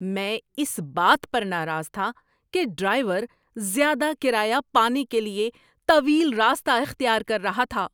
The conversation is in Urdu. میں اس بات پر ناراض تھا کہ ڈرائیور زیادہ کرایہ پانے کے لیے طویل راستہ اختیار کر رہا تھا۔